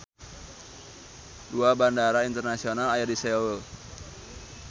Dua bandara internasional aya di Seoul.